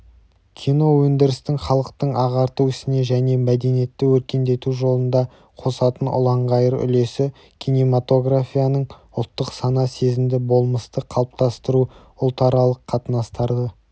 киноөндірістің халықты ағарту ісіне және мәдениетті өркендету жолында қосатын ұланғайыр үлесі кинематографияның ұлттық сана сезімді болмысты қалыптастыру ұлтаралық қатынастарды